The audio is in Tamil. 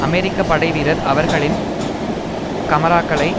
அமெரிக்க படைவீரர் அவர்களின் கமராக்களை